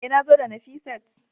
E, nazo da Nafisat